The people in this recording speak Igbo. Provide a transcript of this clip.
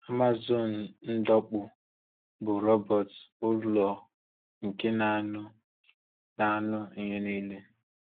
Amazon Ụ́dọ̀m̀kpù, bụ́ róbọ́t ụlọ̀ nke na-anụ na-anụ ihe niile.